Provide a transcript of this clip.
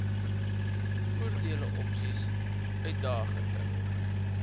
voordele opsies uitdagende